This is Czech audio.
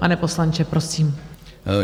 Pane poslanče, prosím.